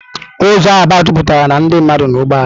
Ụzọ Aba jupụtara na ndị mmadụ na ụgbọ ala.